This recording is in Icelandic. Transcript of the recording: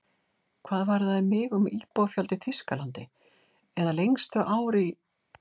Hvað varðaði mig um íbúafjölda í Þýskalandi, eða lengstu ár í